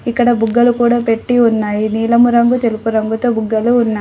ఇక్కడ బుగ్గలు కూడా పెట్టీ ఉన్నాయి నీలము రంగు తెలుపు రంగు తో బుగ్గలు ఉన్నాయ్.